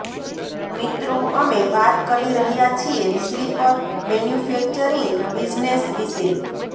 મિત્રો અમે વાત કરી રહ્યા છીએ સ્લીપર મેન્યુફેક્ચરિંગ બિજનેસ વિશે